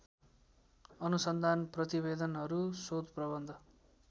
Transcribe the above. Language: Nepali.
अनुसन्धान प्रतिवेदनहरू शोधप्रबन्ध